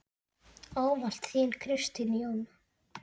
Ávallt þín, Kristín Jóna.